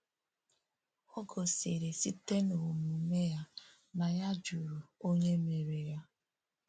Ò gòsìrì sị́tè n’omùmè ya na ya jụrụ Onye Mèrè ya.